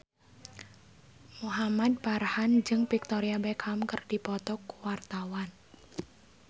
Muhamad Farhan jeung Victoria Beckham keur dipoto ku wartawan